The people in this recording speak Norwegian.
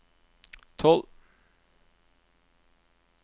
tolv